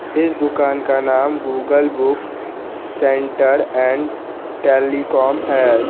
इस दुकान का नाम Google book centre and telecom है।